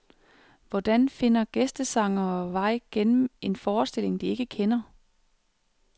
Hvordan finder gæstesangere vej gennem en forestilling, de ikke kender.